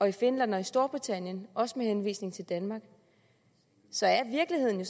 i finland og i storbritannien også med henvisning til danmark så er virkeligheden